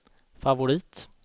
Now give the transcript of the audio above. favorit